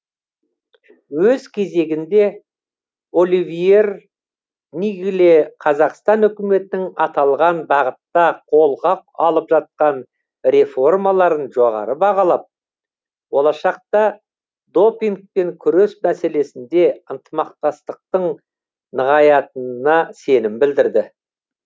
өз кезегінде оливьер ниггле қазақстан үкіметінің аталған бағытта қолға алып жатқан реформаларын жоғары бағалап болашақта допингпен күрес мәселесінде ынтымақтастықтың нығаятынына сенім білдірді